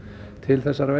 til þessara veiða